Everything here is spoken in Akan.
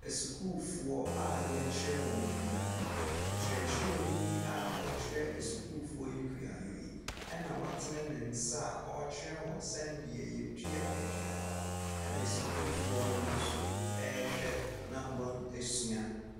Asukuufoɔ a yɛrekyerɛ wɔn kuayɔ, ɔkyerɛkyerɛni a ɔrekyerɛ asukuufoɔ yi kuauyɔ yi na watene ne nsa a ɔrekyerɛ wɔn sɛdeɛ yɛdua aduaba, na asukuufoɔ no nso wɔrehwɛ na wɔasua.